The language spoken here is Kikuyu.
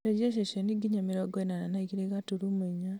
cenjia ceceni nginya mĩrongo ĩnana na igĩrĩ gaturumo inya